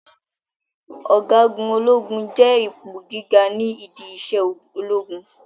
Ọ̀gágun ológun jẹ́ ipò gíga ni ìdí isẹ ológun